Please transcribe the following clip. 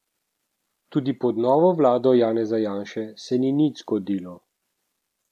Tudi pod novo vlado Janeza Janše se ni nič zgodilo.